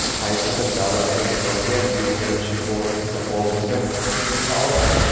Qaysidir davlatdagi vaziyat o‘zgarishi borasida oldindan taxmin qila olmaymiz.